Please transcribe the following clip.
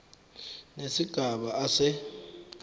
nesigaba a se